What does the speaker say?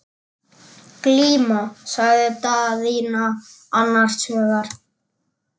Glíma, sagði Daðína annars hugar.